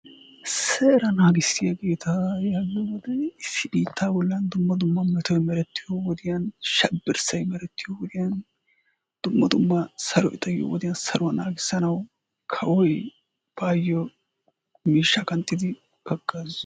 Seera naagissiyaageeta yaagiyoogeeta issi biitta bollan dumma dumma metoy meretiyo wodiyaan shabirssay meretiyo wodiyaan dumma dumma saroy xayyiyo wodiyaan saurwaa naagisanaw kawoy baayyo miishsha qanxxidi hagaazza..